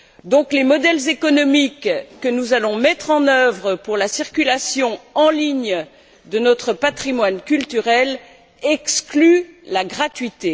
Donc les modèles économiques que nous allons mettre en œuvre pour la circulation en ligne de notre patrimoine culturel excluent la gratuité.